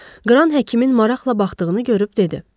Qran həkimin maraqla baxdığını görüb dedi: